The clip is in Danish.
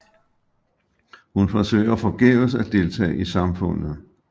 Hun forsøger forgæves at deltage i samfundet